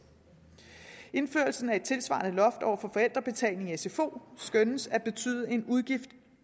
indførelsen af et tilsvarende loft over forældrebetalingen i sfo skønnes at betyde en udgift i